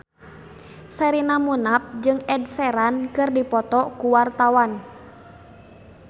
Sherina Munaf jeung Ed Sheeran keur dipoto ku wartawan